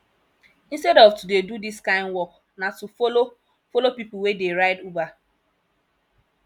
instead of to dey do dis kind work na to follow follow pipu wey dey ride uber